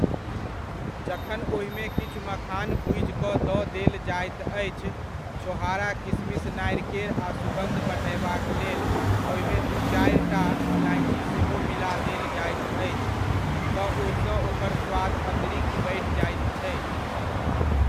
जखन ओहिमे किछु मखान भुजि कऽ दऽ देल जाइत अछि, छोहारा किशमिश नारिकेर आ सुगन्ध बढ़यबाक लेल ओहिमे दू चारिटा इलाइची सेहो मिला देल जाइत अछि, तऽ ओहिसँ ओकर स्वाद अतिरिक्त बढ़ि जाइत छै।